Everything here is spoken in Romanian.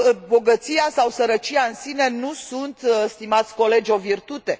Bogăția sau sărăcia în sine nu sunt, stimați colegi, o virtute.